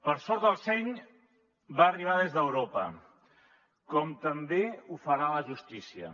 per sort el seny va arribar des d’europa com també ho farà la justícia